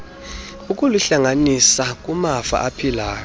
ukuluhlanganisa kumafa aphilayo